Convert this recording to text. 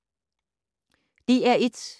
DR1